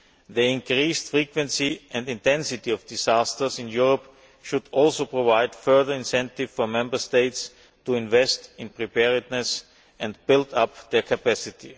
The increased frequency and intensity of disasters in Europe should also provide further incentives for Member States to invest in preparedness and build up their capacity.